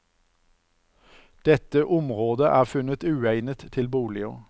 Dette området er funnet uegnet til boliger.